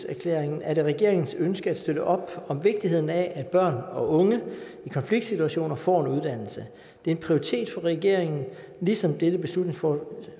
erklæringen er det regeringens ønske at støtte op om vigtigheden af at børn og unge i konfliktsituationer får en uddannelse det er en prioritet for regeringen ligesom dette beslutningsforslag